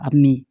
A mi